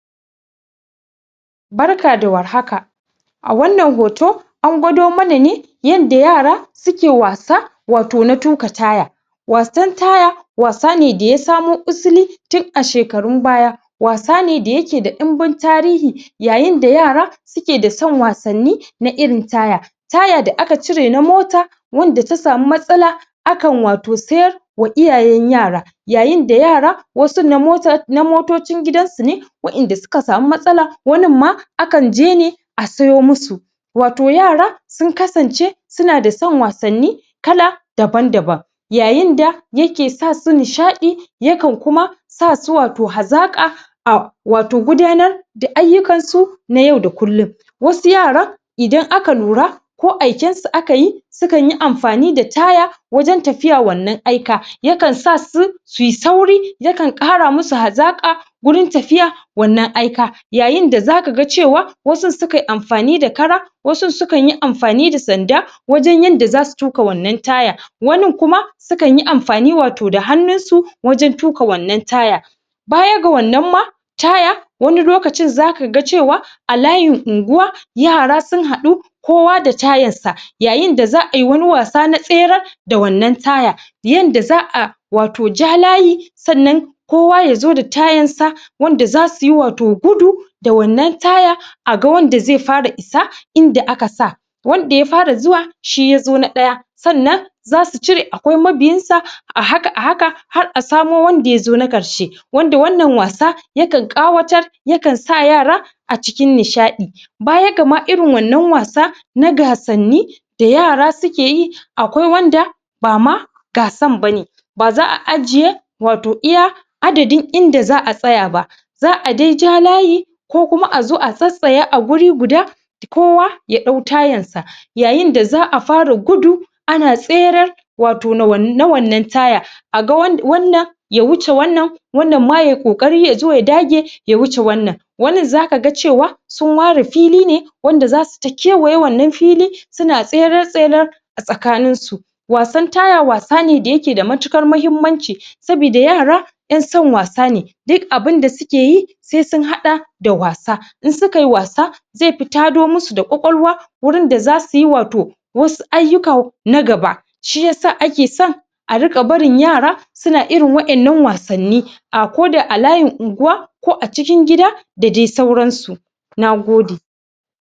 Barka da war haka a wannan hoto an gwado mana ne yanda yara suke wasa wato na tuƙa taya wasan taya wasane da ya samo usuli tun a shekarun baya wasa ne da yake da ɗinbin tarihi yayinda yara sukeda son wasanni na irin taya taya da aka cirena mota wanda ta samu matsala akan wato siyar wa iyayen yara yayinda yara wasu na motar, wasu na motocin gidansu ne waɗanda suka samu matsala waninma akan je ne a siyo musu wato yara sun kasance sunada son wasanni kala daban-daban yayinda yake sasu nishaɗi yakan kuma sasu wato hazaƙa ah, wato gudanar da ayyukan su na yau da kullum wasu yaran idan aka lura ko aikensu akayi sukanyi amfani da taya wajen tafiya wannan aika, yakan sasu suyi sauri yakan ƙaramusu hazaƙa wurin tafiya wannan aika yayinda zakaga cewa wasunsu sukan amfani da kara wasunsu sukan yi amfani da sanda wajen yanda zasu tuƙ wannan taya wanin kuma sukanyi amfani wato da hannun su wajen tuƙa wannan taya baya ga wannan ma taya wani lokacin zaka ga cewa a layin unguwa yara sun haɗu kowa da tayarsa yayinda za'a yi wani wasa na tsere da wannan taya yanda za'a wato ja layi sannan kowa yazo da tayarsa wanda za suyi wato gudu da wannan taya aga wanda zai fara isa inda aka sa wanda ya fara zuwa shi yazo na ɗaya sannan zasu cire akwai mabiyansan da haka da haka har a samo wanada yazo na ƙarshe wanda wannan wasayakan ƙawatar yakan sa yara a cikin nishaɗi baya gama irin wannan wasa na gasanni da yara sukeyi akwai wanda bama gasan bane baza a ajiye wato iya adadin inda za'a tsaya ba za'a dai ja layi kuma a tsatsaya a guri guda kowa ya ɗau tayarsa yayinda za'a fara gudu ana tsere wato na wannan taya a ga wanna ya wuce wannan wannan ma yayi ƙoƙari yazo ya dage ya wuce wannan wannin zaka ga cewa sun ware fili ne wanada zasu ta kewaye wannan fili a tsakanin su wasan taya wasa ne da yake da matuƙar mahimmanci sabida yara yan son wasa ne duk abinda sukeyi sai sun haɗa da wasa, in sukayi wasa zaifi tado musu da kwakwalwa wurin da za suyi wato wasu ayyuka na gaba shi yasa ake son a riƙa barin yara suna irin waɗannan wasanni ah koda a layin unguwa ko a cikin gida dadai sauransu nagode.